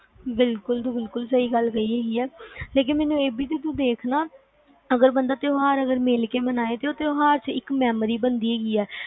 ਬਿਲਕੁਲ ਤੂੰ ਬਿਲਕੁਲ ਸਹੀ ਗੱਲ ਕਹੀ ਆ ਲੇਕਿਨ ਮੈਨੂੰ ਏ ਬੀ ਜੀ ਦੇਖਣਾ ਅਗਰ ਬੰਦਾ ਤਿਉਹਾਰ ਅਗਰ ਮਿਲ ਕੇ ਮਨਾਏ ਤਾ ਉਹ ਤਿਉਹਾਰ ਇੱਕ memory ਬਣ ਦੀ ਆ